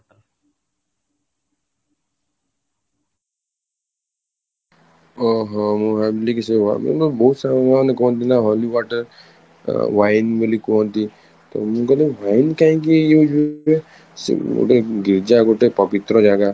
ଓହଃ ମୁଁ ଭାବିଲି କି ସେଇ ବହୁତ ସାରା ଲୋକ ମାନେ କୁହନ୍ତି ନା holy water wine ବୋଲି କୁହନ୍ତି ତ ମୁଁ କହିଲି wine କାହିଁକି ସେ ଗୋଟେ ଗୀର୍ଜା ଗୋଟେ ପବିତ୍ର ଜାଗା